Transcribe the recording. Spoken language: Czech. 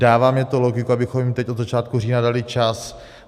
Dává mně to logiku, abychom jim teď od začátku října dali čas.